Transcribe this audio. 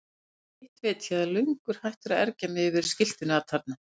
Hitt veit ég að ég er löngu hættur að ergja mig yfir skiltinu atarna.